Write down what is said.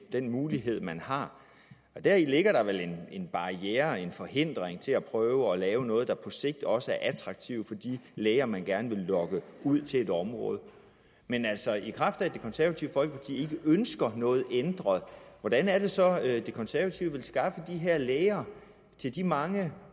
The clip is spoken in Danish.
den mulighed man har deri ligger der vel en barriere en forhindring til at prøve at lave noget der på sigt også er attraktivt for de læger man gerne vil lokke ud til et område men altså i kraft af at det konservative folkeparti ikke ønsker noget ændret hvordan er det så at de konservative vil skaffe de her læger til de mange